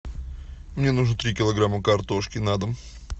мне нужно три килограмма картошки на дом